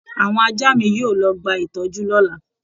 Àwọn ajá mi yóò lọ gba ìtọ́jú lọ́la